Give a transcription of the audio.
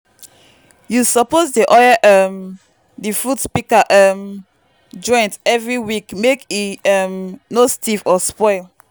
you suppose dey oil um di fruit pika um joint every week mek e um no stiff or spoil.